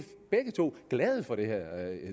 begge to glade for det her